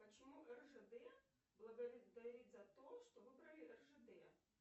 почему ржд благодарит за то что выбрали ржд